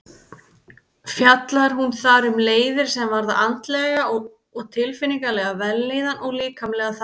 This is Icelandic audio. Fjallar hún þar um leiðir sem varða andlega og tilfinningalega vellíðan og líkamlega þætti.